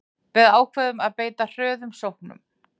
Við ákváðum að beita hröðum sóknum